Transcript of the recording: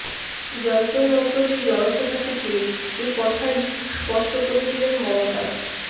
যন্তরমন্তরের জনসভা থেকে এ কথাই স্পষ্ট করে দিলেন মমতা